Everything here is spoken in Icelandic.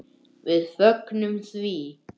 Við fögnum því.